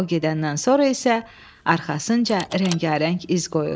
O gedəndən sonra isə arxasınca rəngarəng iz qoyur.